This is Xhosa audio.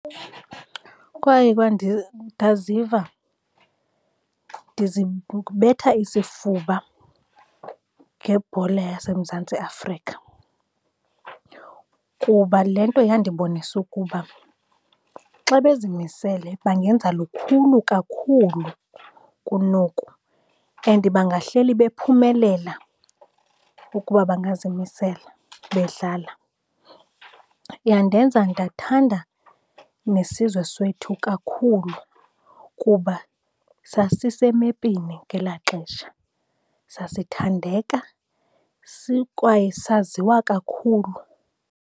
Kwaye ndaziva ndizibetha isifuba ngebhola yaseMzantsi Afrika, kuba le nto yandibonisa ukuba xa bezimisele bangenza lukhulu kakhulu kunoku and bangahleli bephumelela ukuba bangazimisela bedlala. Yandenza ndathanda nesizwe sethu kakhulu kuba sasisemepini ngelaa xesha. Sasithandeka sikwaye saziwa kakhulu.